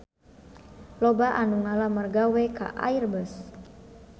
Loba anu ngalamar gawe ka Airbus